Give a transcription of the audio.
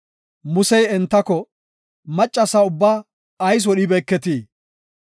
Musey entako, “Maccasa ubbaa ayis wodhibeeketii?